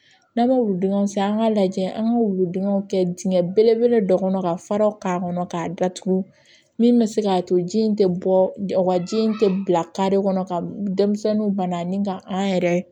N'an bɛ wuludenw san an k'a lajɛ an ka wuludenw kɛ dingɛ belebele dɔ kɔnɔ ka fara k'a kɔnɔ k'a datugu min bɛ se k'a to ji in tɛ bɔ o ka ji in tɛ bila kare kɔnɔ ka denmisɛnninw banna ni ka an yɛrɛ